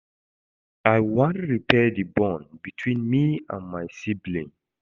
I wan repair di bond between me and my sibling.